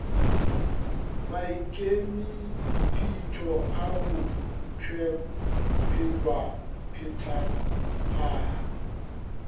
maikemipetpo a go tpwela petphaba